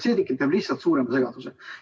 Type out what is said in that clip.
See tekitab lihtsalt suurema segaduse.